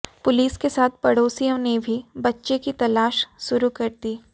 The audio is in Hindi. पुलिस के साथ पड़ोसियो ने भी बच्चे की तलाश शुरु कर दी